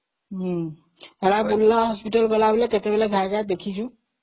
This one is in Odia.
ହଁବୁର୍ଲା hospital ଗଲାବେଳେ କେତେବେଳେ ଦେଖି ଦେଖି ଯିବୁ